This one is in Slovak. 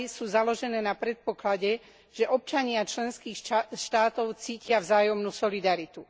sú založené na predpoklade, že občania členských štátov cítia vzájomnú solidaritu.